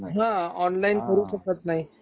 हा. ऑनलाइन करू शकत नाही.